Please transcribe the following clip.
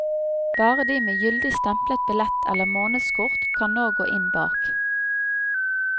Bare de med gyldig stemplet billett eller månedskort kan nå gå inn bak.